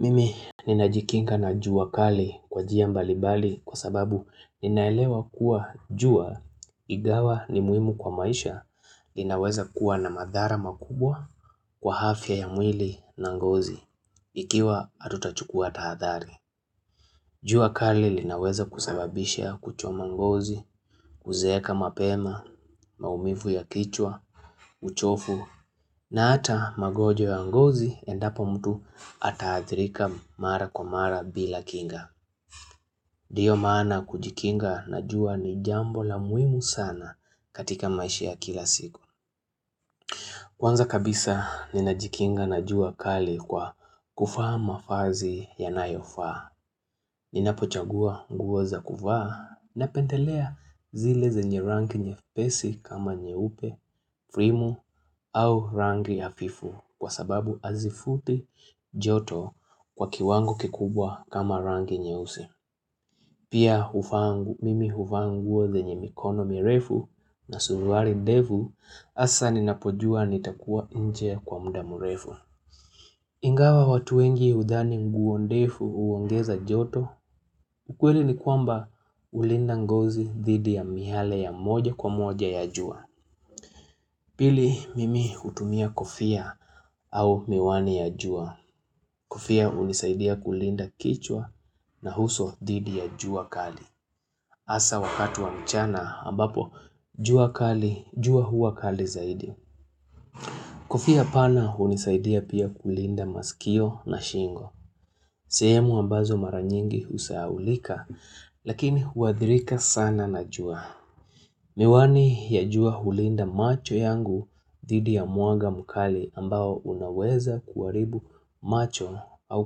Mimi, ninajikinga na jua kali kwa jia mbalibali kwa sababu ninaelewa kuwa jua igawa ni muhimu kwa maisha linaweza kuwa na madhara makubwa kwa hafya ya mwili na ngozi, ikiwa atutachukua tahadhali. Jua kali linaweza kusababisha kuchoma ngozi, kuzeeka mapema, maumifu ya kichwa, uchofu, na ata magojwa ya ngozi endapo mtu ataathirika mara kwa mara bila kinga. Diyo maana kujikinga na jua ni jambo la muhimu sana katika maishi ya kila siku. Kwanza kabisa ninajikinga na jua kali kwa kufaa mafazi yanayofaa. Ninapochagua nguo za kuvaa napendelea zile zenye rangi nyepesi kama nyeupe, frimu au rangi afifu kwa sababu azifuti joto kwa kiwango kikubwa kama rangi nyeusi. Pia hufaa mimi huvaa nguo zenye mikono mirefu na suruari ndefu asa ninapojua nitakuwa nje kwa mda murefu. Ingawa watu wengi udhani nguo ndefu uongeza joto, ukweli ni kwamba ulinda ngozi dhidi ya mihale ya moja kwa moja ya jua. Pili mimi hutumia kofia au miwani ya jua. Kofia unisaidia kulinda kichwa na huso dhidi ya jua kali. Asa wakatu wa mchana ambapo, jua kali, jua hua kali zaidi. Kofia pana hunisaidia pia kulinda masikio na shingo. Sehemu ambazo mara nyingi usahaulika, lakini huadhirika sana na jua. Miwani ya jua hulinda macho yangu dhidi ya muaga mkali ambao unaweza kuaribu macho au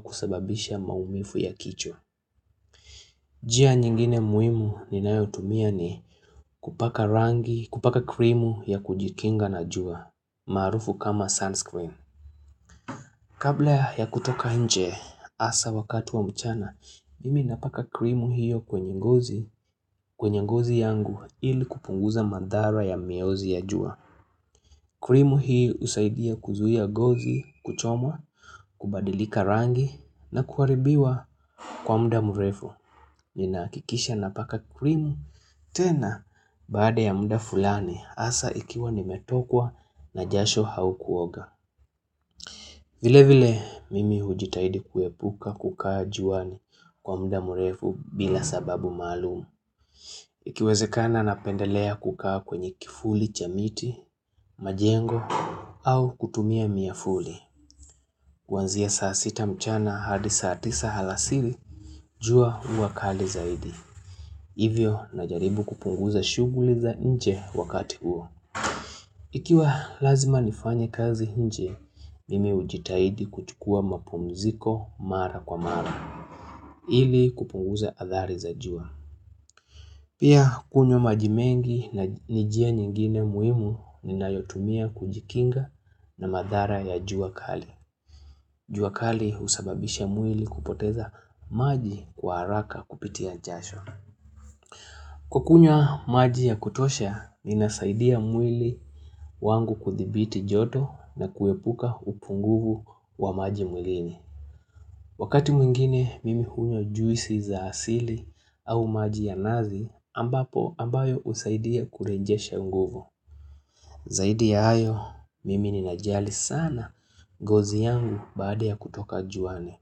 kusababisha maumifu ya kichwa. Njia nyingine muimu ninayotumia ni kupaka rangi, kupaka krimu ya kujikinga na jua, maarufu kama sunscreen. Kabla ya kutoka nje, asa wakatu wa mchana, mimi napaka krimu hiyo kwenye ngozi, kwenye ngozi yangu ili kupunguza mandhara ya miozi ya jua. Krimu hii usaidia kuzuia gozi kuchomwa, kubadilika rangi na kuharibiwa kwa mda mrefu. Ninaakikisha napaka krimu tena baada ya mda fulani, asa ikiwa nimetokwa na jasho h hau kuoga. Vile vile mimi ujitahidi kuepuka kukaa juani kwa mda murefu bila sababu maalum. Ikiwezekana napendelea kukaa kwenye kifuli cha miti, majengo au kutumia miafuli. Kuanzia saa sita mchana hadi saa tisa halasiri, jua hua kali zaidi. Hivyo najaribu kupunguza shughli za nje wakati huo. Ikiwa lazima nifanye kazi hinje, mimi ujitahidi kuchukua mapumziko mara kwa mara, ili kupunguza athari za jua. Pia kunywa maji mengi na ni jia nyingine muimu ninayotumia kujikinga na mathara ya jua kali. Jua kali husababisha mwili kupoteza maji kwa haraka kupitia jasho. Kukunywa maji ya kutosha, ninasaidia mwili wangu kuthibiti joto na kuepuka upunguvu wa maji mwilini. Wakati mwingine, mimi hunywa juisi za asili au maji ya nazi ambapo ambayo usaidia kurejesha nguvu. Zaidi ya hayo, mimi ninajali sana gozi yangu baada ya kutoka juani.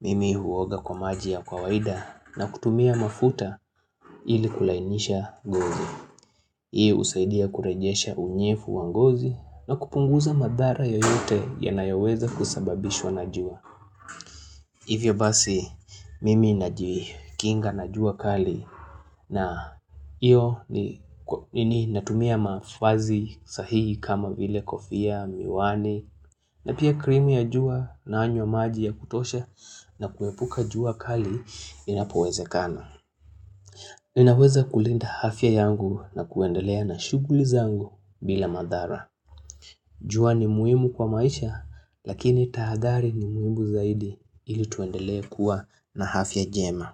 Mimi huoga kwa maji ya kwawaida na kutumia mafuta ili kulainisha gozi. Hii usaidia kurejesha unyefu wa ngozi na kupunguza mathara yoyote yanayoweza kusababishwa na jua. Hivyo basi mimi najikinga na jua kali na iyo ni natumia mafazi sahihi kama vile kofia, miwani na pia krimi ya jua nanywa maji ya kutosha na kuepuka jua kali inapowezekana. Ninaweza kulinda hafya yangu na kuendelea na shughli zangu bila mathara jua ni muimu kwa maisha lakini tahadhari ni muimu zaidi ili tuendelea kuwa na hafya jema.